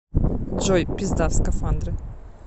джой пизда в скафандре